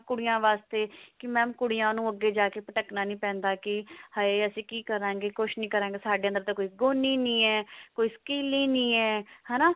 ਕੁੜੀਆਂ ਵਾਸਤੇ ਕੀ mam ਕੁੜੀਆਂ ਨੂੰ ਅੱਗੇ ਜਾ ਕਿ ਭਟਕਨਾ ਨੀ ਪੈਂਦਾ ਕਿ ਹੈ ਅਸੀਂ ਕੀ ਕਰਾਂਗੇ ਕੁਛ ਨੀ ਕਰਾਂਗੇ ਸਾਡੇ ਅੰਦਰ ਤਾਂ ਗੁਣ ਹੀ ਨਹੀ ਹੈ ਕੋਈ skill ਹੀ ਨਹੀ ਹੈ